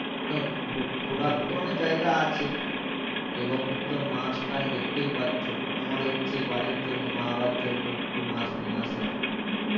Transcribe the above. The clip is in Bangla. ঘো ঘুরা~ঘুরার তো অনেক জায়গা আছে এবং তুমি তো মাছ টাছ তো দেখতেই পাচ্ছো আমার ইচ্ছে বাড়ির জন্য মা বাবার জন্য একটু মাছ নিয়ে আসার